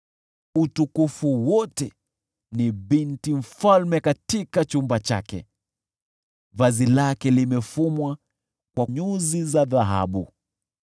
Utukufu wote una binti mfalme katika chumba chake; vazi lake limefumwa kwa nyuzi za dhahabu.